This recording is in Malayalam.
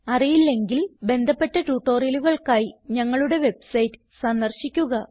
അറിയില്ലെങ്കിൽ ബന്ധപ്പെട്ട ട്യൂട്ടോറിയലുകൾക്കായി ഞങ്ങളുടെ വെബ്സൈറ്റ് സന്ദർശിക്കുക